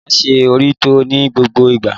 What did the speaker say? Máa ṣe òrítọ́ ní gbogbo ìgbà.